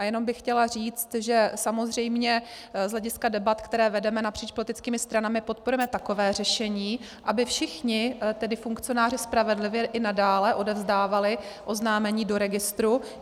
A jenom bych chtěla říct, že samozřejmě z hlediska debat, které vedeme napříč politickými stranami, podporujeme takové řešení, aby všichni tedy funkcionáři spravedlivě i nadále odevzdávali oznámení do registru.